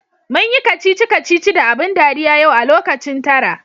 Munyi kacici kacici da abun dariya yau a lokacin tara.